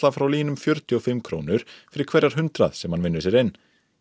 frá LÍN um fjörutíu og fimm krónur fyrir hverjar hundrað sem hann vinnur sér inn